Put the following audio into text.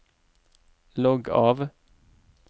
logg av